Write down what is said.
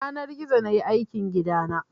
Da yanar gizo nayi aikin gidana